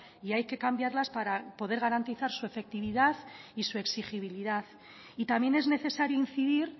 y hay que cambiarlas para poder garantizar su efectividad y su exigibilidad y también es necesario incidir